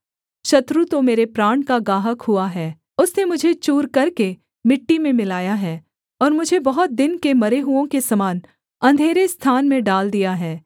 शत्रु तो मेरे प्राण का गाहक हुआ है उसने मुझे चूर करके मिट्टी में मिलाया है और मुझे बहुत दिन के मरे हुओं के समान अंधेरे स्थान में डाल दिया है